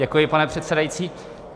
Děkuji, pane předsedající.